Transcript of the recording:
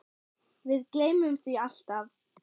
Við gleymum því alltaf